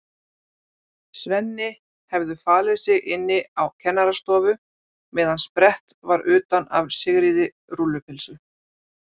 Svenni hefðu falið sig inni á kennarastofu meðan sprett var utan af Sigríði rúllu- pylsu.